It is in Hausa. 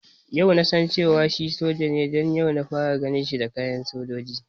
Yau nasan cewar shi soja ne don yau na fara ganin sa da kayan sojoji